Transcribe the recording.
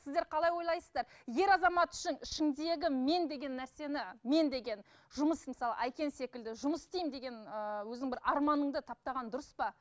сіздер қалай ойлайсыздар ер азамат үшін ішіңдегі мен деген нәрсені мен деген жұмыс мысалы әйкен секілді жұмыс істеймін деген ыыы өзіңнің бір арманыңды таптаған дұрыс па